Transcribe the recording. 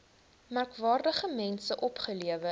merkwaardige mense opgelewer